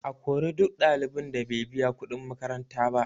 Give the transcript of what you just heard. A kori duk ɗalibin da bai biya kuɗin makaranta ba